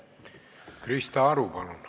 Krista Aru, palun!